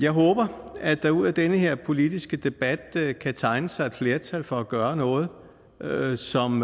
håber at der ud af den her politiske debat kan tegne sig et flertal for at gøre noget noget som